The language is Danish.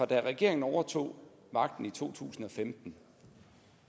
det regeringen overtog magten i to tusind og femten